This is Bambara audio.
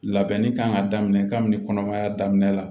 Labɛnni kan ka daminɛ kabini kɔnɔmaya daminɛ la